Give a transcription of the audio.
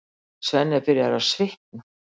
Svenni er byrjaður að svitna.